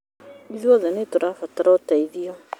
Ithuothe nĩ tũrabatara ũteithio